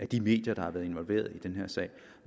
de medier der har været involveret i den her sag